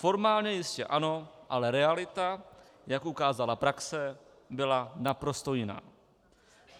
Formálně jistě ano, ale realita, jak ukázala praxe, byla naprosto jiná.